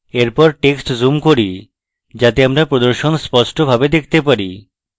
এরপর টেক্সটি zoom করি যাতে আমরা প্রদর্শন স্পষ্টভাবে দেখতে পারি